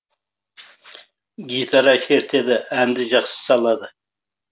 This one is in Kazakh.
гитара шертеді әнді жақсы салады